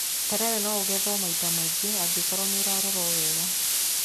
Terere no ũgethwo maita maingĩ angĩkorwo nĩ ũrarorwo wega.